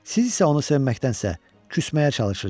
Siz isə onu sevməkdənsə küsməyə çalışırsınız.